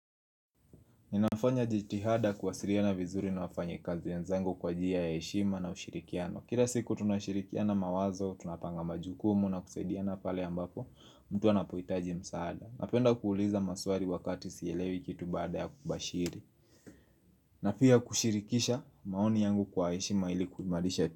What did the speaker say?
Ninafanya jitihada kuwasiliana vizuri na wafanyikazi wenzangu kwa njia ya heshima na ushirikiano. Kila siku tunashirikiana mawazo, tunapanga majukumu na kusaidiana pale ambapo mtu anapohitaji msaada. Napenda kuuliza maswali wakati sielewi kitu baada ya kubashiri. Na pia kushirikisha maoni yangu kwa heshima ili kuimarisha.